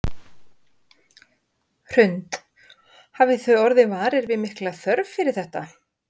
Hrund: Hafið þið orðið varir við mikla þörf fyrir þetta?